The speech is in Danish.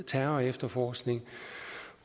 terrorefterforskning